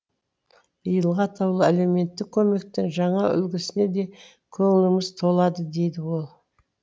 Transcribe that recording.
биылғы атаулы әлеуметтік көмектің жаңа үлгісіне де көңіліміз толады дейді ол